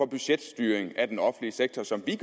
budgetstyring af den offentlige sektor som vi